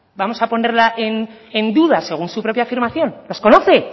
vamos a ponerla en duda según su propia afirmación les conoce